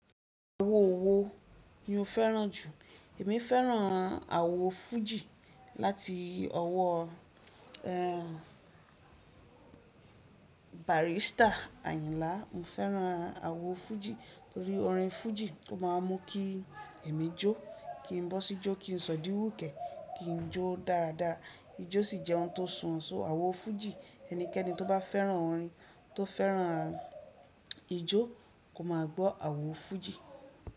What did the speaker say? Owo owó ni mo fẹ́ràn jù. Èmi fẹ́ràn àwo fújì láti ọwọ́ ehn barista Ayinlá. Mo fẹ́ràn àwo fújì torí orin fújì o máa mú kí èmi jó, kí n bó sí jó, kí n sọ di wúkẹ̀, kí n jó dáradára. Ijó sì jẹ́ ohun tó sùn. So àwo fújì ẹnikẹ́ni tó bá fẹ́ràn orin, tó fẹ́ràn ijó kò máa gbọ́ àwo fújì.